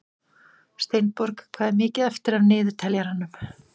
Steinborg, hvað er mikið eftir af niðurteljaranum?